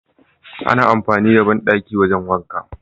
ana amfani da banɗaki wajan wanka